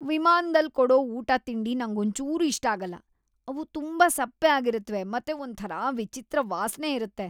ವಿಮಾನ್ದಲ್ ಕೊಡೋ ಊಟ-ತಿಂಡಿ ನಂಗೊಂಚೂರೂ ಇಷ್ಟ ಆಗಲ್ಲ. ಅವು ತುಂಬಾ ಸಪ್ಪೆ ಆಗಿರತ್ವೆ ಮತ್ತೆ ಒಂಥರಾ ವಿಚಿತ್ರ ವಾಸ್ನೆ ಇರತ್ತೆ.